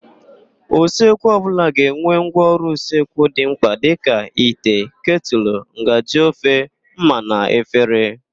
Usekwu ọbụla ga-enwe ngwaọrụ usekwu dị mkpa dịka: ite, ketụlụ, ngaji ofe, ḿmà na efere.